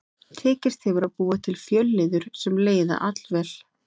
Tekist hefur að búa til fjölliður sem leiða allvel.